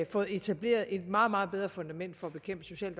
fået etableret et meget meget bedre fundament for at bekæmpe social